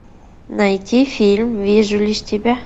найти фильм вижу лишь тебя